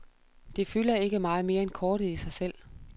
Det fylder ikke meget mere end kortet i sig selv.